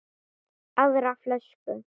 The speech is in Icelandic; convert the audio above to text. Aðra flösku?